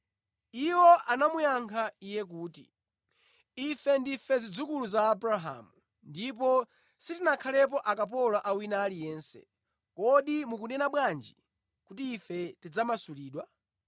Iwo anamuyankha Iye kuti, “Ife ndife zidzukulu za Abrahamu ndipo sitinakhalepo akapolo a wina aliyense. Kodi mukunena bwanji kuti, ‘Ife tidzamasulidwa?’ ”